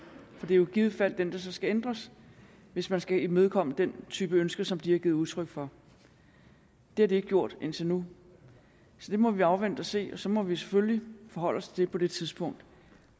for det er jo i givet fald den der så skal ændres hvis man skal imødekomme den type ønsker som de har givet udtryk for det har de ikke gjort indtil nu så det må vi afvente og se og så må vi selvfølgelig forholde os til det på det tidspunkt